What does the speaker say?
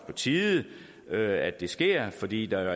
på tide at det sker fordi der